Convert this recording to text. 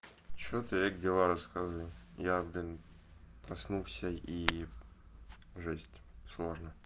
что ты как дела рассказывай я блин проснулся и жесть сложно